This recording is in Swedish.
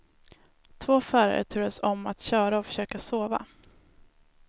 Två förare turades om att köra och försöka sova.